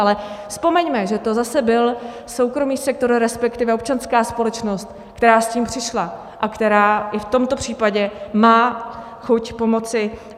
Ale vzpomeňme, že to zase byl soukromý sektor, respektive občanská společnost, která s tím přišla a která i v tomto případě má chuť pomoci.